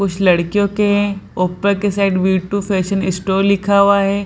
कुछ लड़कियों के ऊपर के ऊपर के side V two fashion store लिखा हुआ है।